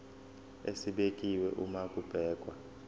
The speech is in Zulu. esibekiwe uma kubhekwa